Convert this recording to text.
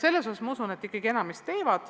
Seetõttu ma usun, et enamik ikkagi tuleb eksameid tegema.